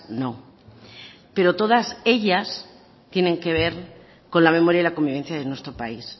no pero todas ellas tienen que ver con la memoria y la convivencia de nuestro país